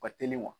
Ka teli wa